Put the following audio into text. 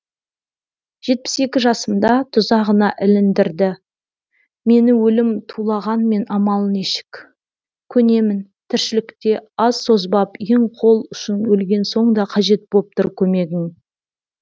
жетпіс екі жасымда тұзағына іліндірді мені өлім тулағанмен амал нешік көнемін тіршілікте аз созбап ең қол ұшын өлген соң да қажет боп тұр көмегің